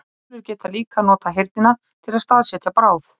Uglur geta líka notað heyrnina til að staðsetja bráð.